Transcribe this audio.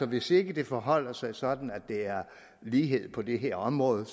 hvis ikke det forholder sig sådan at der er lighed på det her område